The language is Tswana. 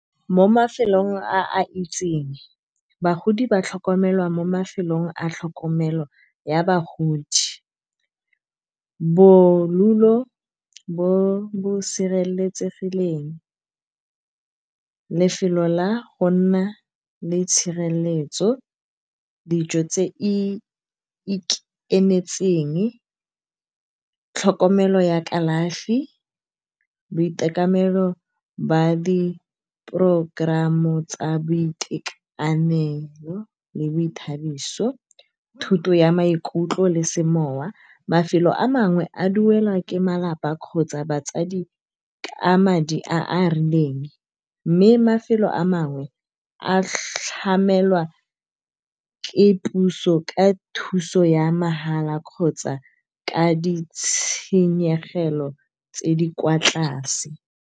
Mo mafelong a itseng bagodi ba tlhokomelwa mo mafelong a tlhokomelo ya bagodi. Bodulo bo bo sireletsegileng lefelo la go nna le tshireletso, dijo tse di ikemetseng, tlhokomelo ya kalafi boitekanelo ba di-program tsa boitekanelo le boithabiso. Thoto ya maikutlo le semowa, mafelo a mangwe a duelwa ke malapa kgotsa batsadi ka madi a a rileng, mme mafelo a mangwe a tlhamela ke puso ka thuso ya mahala kgotsa ka di tshenyegelo tse di kwa tlase.